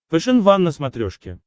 фэшен ван на смотрешке